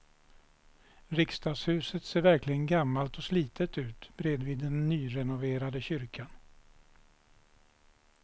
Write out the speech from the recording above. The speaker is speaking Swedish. Riksdagshuset ser verkligen gammalt och slitet ut bredvid den nyrenoverade kyrkan.